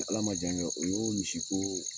Ni Ala ma jan kɛ, o y'o misi koo